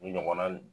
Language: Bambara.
U ɲɔgɔnna